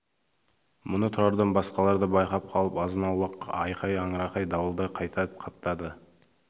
мұны тұрардан басқалар да байқап қалып азынауық айқай аңырақай дауылдай қайта қаптады